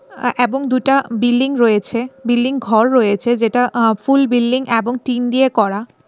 আ অ্যাবং দুটা বিল্ডিং রয়েছে বিল্ডিং ঘর রয়েছে যেটা আ ফুল বিল্লিং অ্যাবং টিন দিয়ে করা।